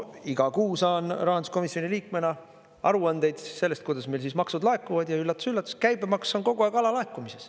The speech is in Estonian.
Iga kuu saan rahanduskomisjoni liikmena aruandeid sellest, kuidas meil maksud laekuvad, ja üllatus-üllatus, käibemaks on kogu aeg alalaekumises.